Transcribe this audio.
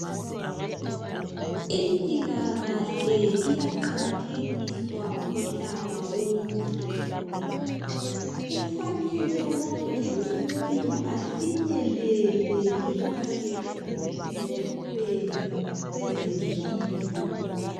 Impila kahle iyaqakathekiswa umhlaba wonke. Kufanele wonke umuntu afinyelele ekunakekelweni kwezempilo.